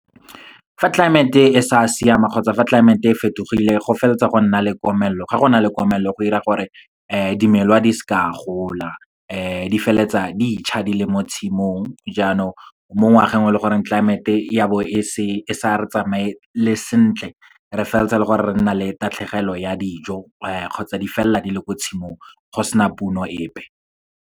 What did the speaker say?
Fa tlelaemete e sa siama, kgotsa fa tlelaemete e fetogile go feleletsa go nna le komelelo. Ga go na le komelelo go dira gore dimela di seke di a gola, di feleletsa di tjha di le mo tshimong. Jaanong, mo ngwageng o leng gore tlelaemete ya bo e sa re tsamayele sentle, re feleletsa le gore, re nna le tatlhegelo ya dijo kgotsa di felela di le ko tshimong, go sena puno epe.